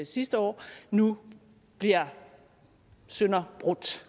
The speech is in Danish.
sidste år nu bliver sønderbrudt